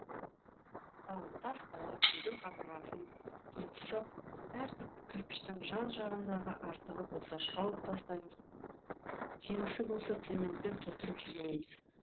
мысалы тас қалап үйдің қабырғасын тұрғызсақ әр кірпіштің жан жағындағы артығы болса шауып тастаймыз кемісі болса цементпен толтырып жібереміз